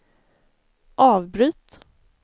avbryt